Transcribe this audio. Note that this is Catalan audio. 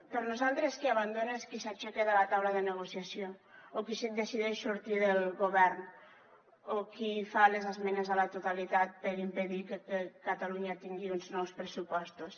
per nosaltres qui abandona és qui s’aixeca de la taula de negociació o qui decideix sortir del govern o qui fa les esmenes a la totalitat per impedir que catalunya tingui uns nous pressupostos